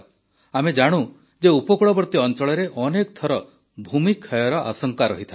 ଆମେ ଜାଣୁ ଯେ ଉପକୂଳବର୍ତୀ ଅଂଚଳରେ ଅନେକ ଥର ଭୂମି କ୍ଷୟର ଆଶଙ୍କା ରହିଥାଏ